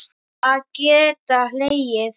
Við verðum að geta hlegið.